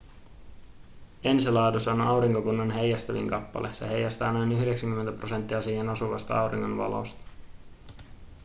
enceladus on aurinkokunnan heijastavin kappale se heijastaa noin 90 prosenttia siihen osuvasta auringon valosta